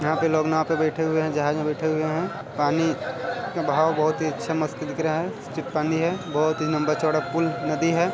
यहाँ पे लोग नाँव पर बैठे हुए है जहाज में बैठे हुए हैं पानी में बहाव बहुत ही अच्छा मस्त दिख रहा है टिप पानी है बहुत ही लंबा चौड़ा पुल नदी है।